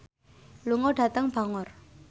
lunga dhateng Bangor